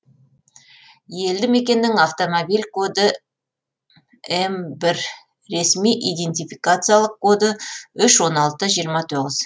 елді мекеннің автомобиль коды м бір ресми идентификациялық коды үш он алты жиырма тоғыз